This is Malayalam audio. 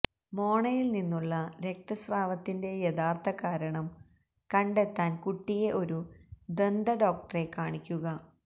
മോണയില് നിന്നുള്ള രക്തസ്രാവത്തിന്റെ യഥാര്ഥകാരണം കണ്ടെത്താന് കുട്ടിയെ ഒരു ദന്തഡോക്ടറെ കാണിക്കുക